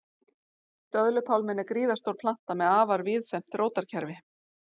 Döðlupálminn er gríðarstór planta með afar víðfeðmt rótarkerfi.